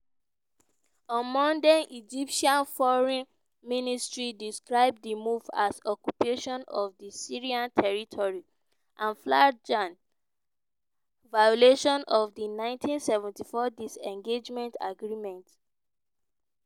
on monday egyptian foreign ministry describe di move as "occupation of di syrian territory and flagrant violation of di 1974 disengagement agreement".